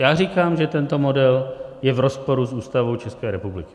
Já říkám, že tento model je v rozporu s Ústavou České republiky.